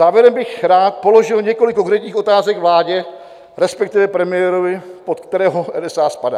Závěrem bych rád položil několik konkrétních otázek vládě, respektive premiérovi, pod kterého NSA spadá.